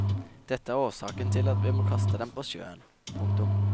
Det er årsaken til at vi må kaste dem på sjøen. punktum